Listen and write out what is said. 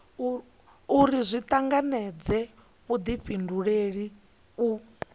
uri zwi tanganedze vhudifhinduleli u